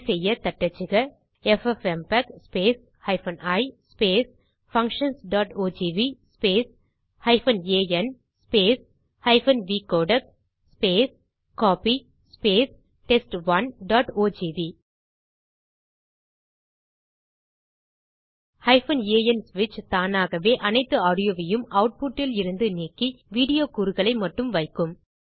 அதை செய்ய தட்டச்சுக எஃப்எப்எம்பெக் i functionsஓஜிவி an vcodec கோப்பி test1ஓஜிவி an ஸ்விட்ச் தானாகவே அனைத்து ஆடியோவையும் ஆட்புட் இல் இருந்து நீக்கி வீடியோ கூறுகளை மட்டும் வைக்கும்